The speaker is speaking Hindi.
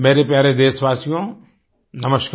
मेरे प्यारे देशवासियो नमस्कार